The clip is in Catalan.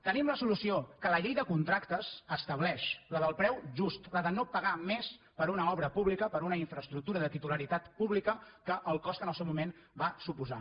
tenim la solució que la llei de contractes estableix la del preu just la de no pagar més per una obra pública per una infraestructura de titularitat pública del cost que al seu moment va suposar